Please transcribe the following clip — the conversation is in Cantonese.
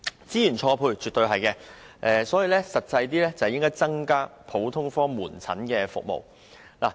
這樣絕對是資源錯配，所以政府應切實加強普通科門診服務。